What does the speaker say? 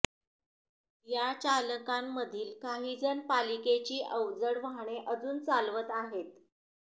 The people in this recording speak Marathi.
या चालकांमधील काहीजण पालिकेची अवजड वाहने अजून चालवत आहेत